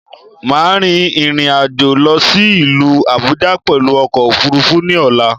Máà rin ìrìnàjò lọ sí ìlú Àbújá pẹ̀lú ọkò òfurufú ní ọ̀la